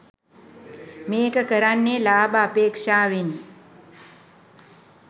මේක කරන්නේ ලාභ අපේක්ෂාවෙන්.